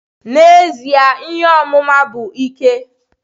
N'ezie, ihe ọmụma bụ ike.